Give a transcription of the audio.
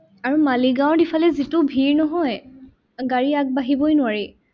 আৰু মালিগাঁওত ইফালে যিটো ভিৰ নহয়, গাড়ী আগবাঢ়িবই নোৱাৰি।